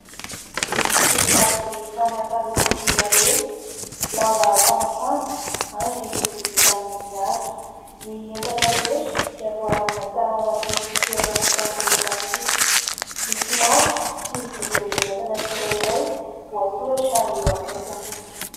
Misy labozia samy hafa loko sy habeha, lamba famafana ary lovia vita amn'ny hazo. Ny entana rehetra dia voalamina tsara ao anaty fitoerana vita amin'ny plastika. Misy marika sy vidin'ny entana tsirairay voasoratra eo akaikiny.